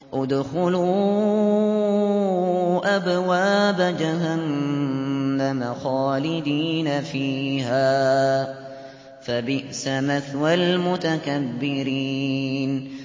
ادْخُلُوا أَبْوَابَ جَهَنَّمَ خَالِدِينَ فِيهَا ۖ فَبِئْسَ مَثْوَى الْمُتَكَبِّرِينَ